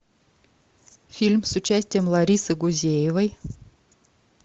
фильм с участием ларисы гузеевой